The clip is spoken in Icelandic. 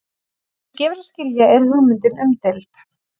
Eins og gefur að skilja er hugmyndin umdeild.